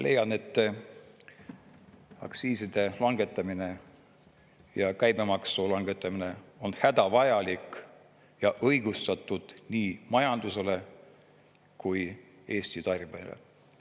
Leian, et aktsiiside langetamine ja käibemaksu langetamine on hädavajalik ja õigustatud nii majandusele kui Eesti tarbijale.